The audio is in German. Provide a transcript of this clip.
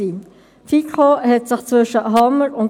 Es gibt unterschiedliche Bewertungsmodelle.